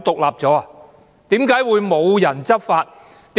為何會無人執法呢？